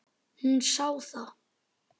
Hún sá það.